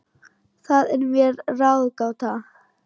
Það er mér ráðgáta